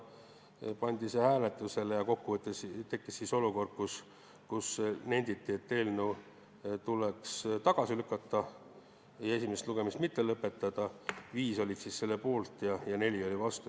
See pandi hääletusele ja tekkis olukord, kus nenditi, et eelnõu tuleks tagasi lükata ja esimest lugemist mitte lõpetada: 5 olid selle poolt ja 4 olid vastu.